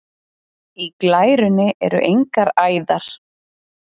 Í glærunni eru engar æðar.